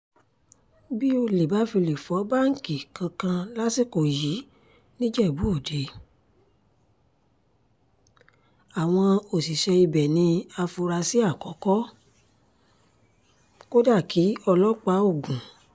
bí ọ̀lẹ bá fi lè fọ báńkì kankan lásìkò yìí nìjẹ́bú-òde àwọn òṣìṣẹ́ ibẹ̀ ní àfúráṣí àkọ́kọ́-kódàkì ọlọ́pàá ogun